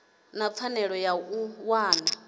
na pfanelo ya u wana